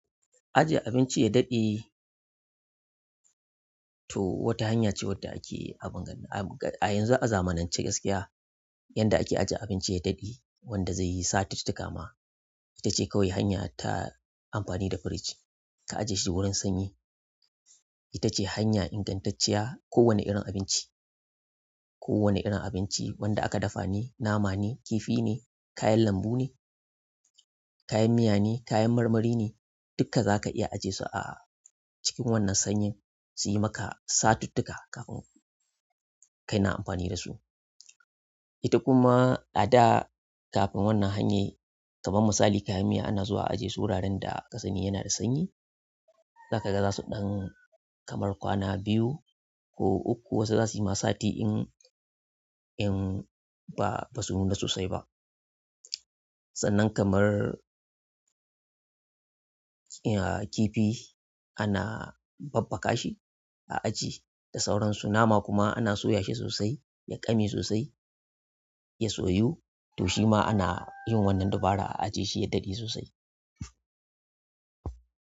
Ajiye abinci ya daɗe to wata hanya ce wadda ake abingan a yanzu a zamanance gaskiya. Yanda ake ajiye abinci ya daɗe wanda zai yi satuttuka ma ita ce kawai hanya ta amfani da fredge. Ka ajiye shi wurin sanyi ita ce hanya ingantacciya. Ko wane irin abinci, ko wane irin abinci wanda aka dafa ne, nama ne, kifi ne, kayan lambu ne, kayan miya ne, kayan marmari ne duka za ka iya ajiye su a cikin wannan sanyin suyi maka satuttuka kafin ka na amfani da su. Ita kuma a da kafin wannan hanyar kamar misali kayan miya ana zuwa ajiye su ranar da kasani yana da sanyi. Zaka ga za su ɗan kamar kwana biyu ko uku wasu za suyi ma sati in, in ba basu nuna sosai ba. Sannan kamar, aa kifi ana babbaka shi a ajiye da sauransu. Nama kuma ana soyashi sosai, ya ƙame sosai ya soyu to shima ana yin dabarar a aje shi ya daɗe sosai.